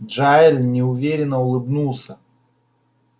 джаэль неуверенно улыбнулся